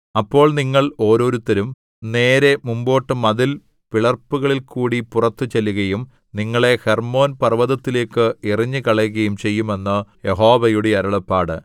അപ്പോൾ നിങ്ങൾ ഓരോരുത്തരും നേരെ മുമ്പോട്ട് മതിൽ പിളർപ്പുകളിൽകൂടി പുറത്തുചെല്ലുകയും നിങ്ങളെ ഹെർമ്മോന്‍ പര്‍വ്വതത്തിലേക്കു എറിഞ്ഞുകളയുകയും ചെയ്യും എന്ന് യഹോവയുടെ അരുളപ്പാട്